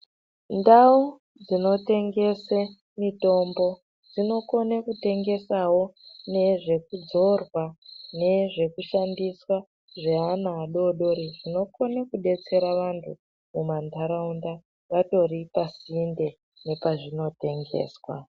Ndau dzinotengese mitombo dzinokona kutengesawo nezvekudzorwa, nezvekushandiswa zveana adoodori, zvinokona kudetsera vanthu mumantharaunda vatori pasinde nepazvinotengeswa.